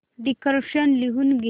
dictation लिहून घे